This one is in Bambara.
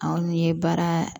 Anw ye baara